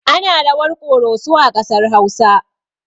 Ana rawar ƙoroso a ƙasar hausa